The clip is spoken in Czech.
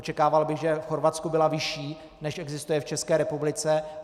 Očekával bych, že v Chorvatsku byla vyšší, než existuje v České republice.